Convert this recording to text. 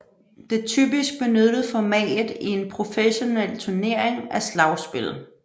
Det typisk benyttede format i en professionel turnering er slagspil